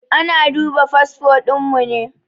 Ana duba fasfo ɗin mu ne.